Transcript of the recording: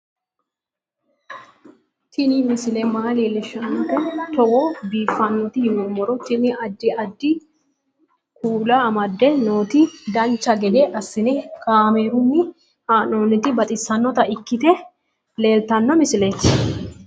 Tini misile maa leellishshannote togo biiffinoti yinummoro tini. addi addi kuula amadde nooti dancha gede assine kaamerunni haa'noonniti baxissannota ikkite leeltanno misileeti